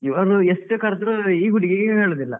ಇವರು ಎಷ್ಟು ಕರ್ದರು ಈ ಹುಡುಗಿಗೆ ಕೇಳುದಿಲ್ಲ.